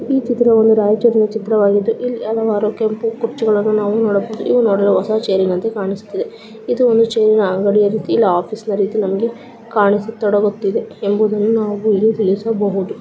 ಈ ಚಿತ್ರವೂ ರಾಯಚೂರಿನ ಚಿತ್ರವಾಗಿದ್ದು ಇಲ್ಲಿ ಹಲವಾರು ಕೆಂಪು ಕುರ್ಚಿಗಳನ್ನು ನಾವು ನೋಡಬಹುದು. ಇವು ನೋಡಲು ಹೊಸಾ ಚೇರ್ ಇನಂತೆ ಕಾಣಿಸುತ್ತಿದೆ. ಇದು ಒಂದು ಚೇರ್ ಇನ ಅಂಗಡಿ ರೀತಿ ಇಲ್ಲಾ ಆಫೀಸ್ ನ ರೀತಿ ನಮಗೆ ಕಾಣಿಸಿ ತೊಡಗುತ್ತದೆ ಎಂಬುದನ್ನು ನಾವು ಇಲ್ಲಿ ತಿಳಿಸಬಹುದು.